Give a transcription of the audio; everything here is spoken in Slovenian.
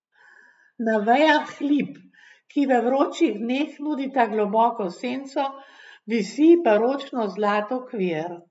Na vejah lip, ki v vročih dneh nudita globoko senco, visi baročno zlat okvir.